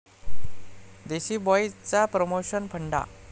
देसी बॉईज'चा प्रमोशन फंडा